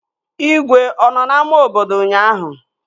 Igwe ọ nọ n'ámá obodo ụnyaahụ?